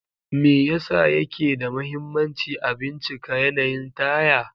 Me yasa yake da mahimmanci a bincika yanayin taya?